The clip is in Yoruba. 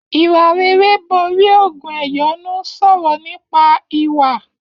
Ìwà rere borí ògùn ẹ̀yọ́nú sọrọ nípa ìwà.